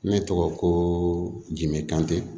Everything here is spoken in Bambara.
Ne tɔgɔ ko dimekante